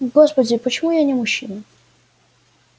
господи почему я не мужчина